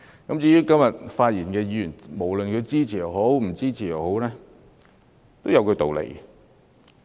今天發言的議員無論支持與否，其實也有他們的道理。